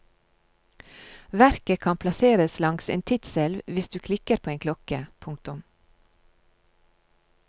Verket kan plasseres langs en tidselv hvis du klikker på en klokke. punktum